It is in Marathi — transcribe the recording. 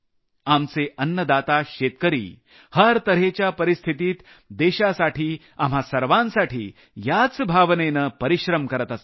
आमचे अन्नदाता शेतकरी प्रत्येक प्रकारच्या परिस्थितीत देशासाठी आपल्या सर्वांसाठी याच भावनेनं परिश्रम करत असतात